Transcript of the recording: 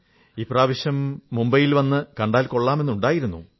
ഇപ്രാവശ്യം മുംബൈയിൽ വന്നപ്പോൾ വന്നു കണ്ടാൽ കൊള്ളാമെന്നുണ്ടായിരുന്നു